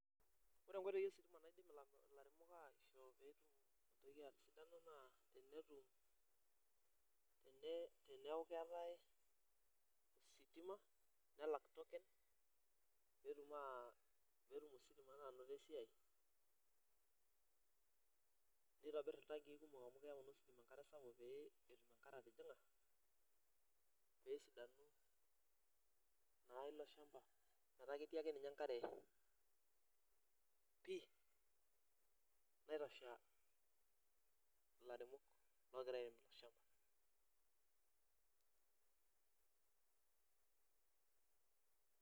Ore nkoitoi ositima naidim lairemok aishoo peeku keetae esidano naa pee elak tokens pee tum naa ositima ainoto esiai. Nitobir iltankiikumok amu keyau naa ositima enkare sapuk pee etum enkare atijinga pee esidanu naa ilo shampa. Metaa ketii ake ninye enkare pi naitosha lairemok oogira airemisho.